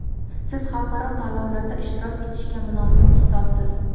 Siz xalqaro tanlovlarda ishtirok etishga munosib ustozsiz!.